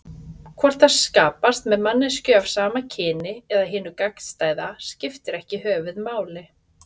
Hvort það skapast með manneskju af sama kyni eða hinu gagnstæða skiptir ekki höfuðmáli.